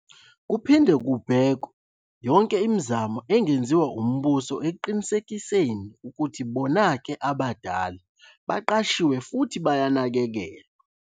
Kuphinde kubhekawe yonke imizamo engeziwa umbuso ekiqinisekenei ukuthi bonake abadala baqashiwe futhi bayanakekelwa.